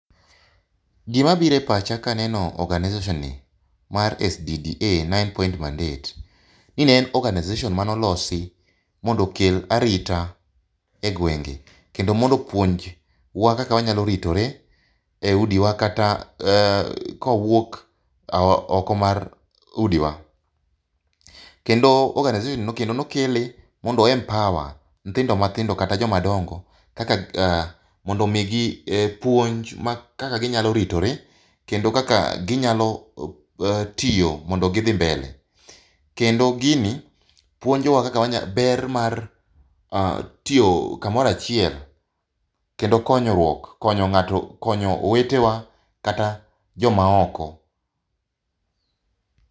Gima biro e pach aka aneno organisation ni mar SDDA nine point mandate ni en organization mane olosi mondo okel arita e gwenge kendo mondo opuonjwa kaka wanyo ritore e udi wa kata kwawuok oko mar udiwa. Kendo organization ni kendo nokele mondo o empower nyithindo mathindo kata joma dongo mondo omigi puonj kaka ginyalo ritore kendo kaka ginyalo tiyo mondo gidhi mbele. Kendo gini puonjowa ber mar kaka tiyo kamoro achiel kendo konyruok, konyo ngato konyo owetewa kata joma oko